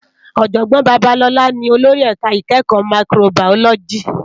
Òjògbòn Babalola ni ólórì èká ikèékò máìkróbáyólòjí